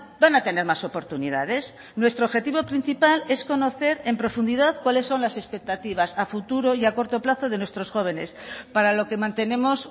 van a tener más oportunidades nuestro objetivo principal es conocer en profundidad cuáles son las expectativas a futuro y a corto plazo de nuestros jóvenes para lo que mantenemos